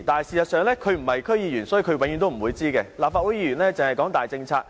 事實上，由於她不是區議員，所以她永遠不會知道，立法會議員只是談大政策。